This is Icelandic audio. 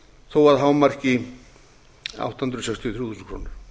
þó að hámarki átta hundruð sextíu og þrjú þúsund krónur